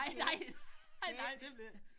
Nej nej nej det ville ikke